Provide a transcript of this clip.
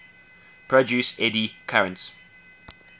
produce eddy currents